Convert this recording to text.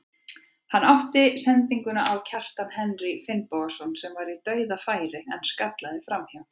Hann átti sendingu á Kjartan Henry Finnbogason sem var í dauðafæri en skallaði framhjá.